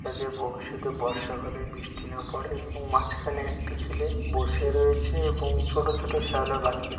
যাতে ভবিষ্যতে বর্ষা কালে বৃষ্টি না পড়ে এবং মাঝখানে একটি ছেলে বসে রয়েছে এবং ছোট ছোট শ্যাওলা গাছ পি --